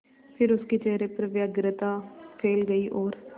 फिर उसके चेहरे पर व्यग्रता फैल गई और